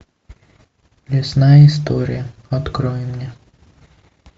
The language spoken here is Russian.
лесная история открой мне